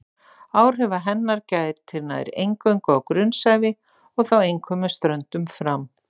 Áhrifa hennar gætir nær eingöngu á grunnsævi og þá einkum með ströndum fram.